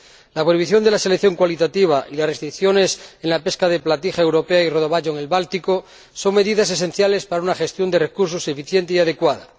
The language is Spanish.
La prohibición de la selección cualitativa y las restricciones en la pesca de platija europea y rodaballo en el Báltico son medidas esenciales para una gestión de recursos eficiente y adecuada.